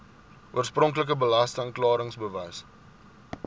oorspronklike belasting klaringsbewys